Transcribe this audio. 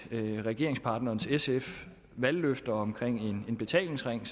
af regeringspartneren sfs valgløfter om en betalingsring